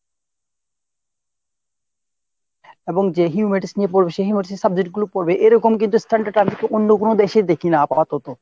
এবং যে humatise নিয়ে পর্বে সে humatise এর subject গুলো পর্বে এরকম কোনো standard কিন্তু আমি অন্য কোনো দেশে দেখিনা আপাতত।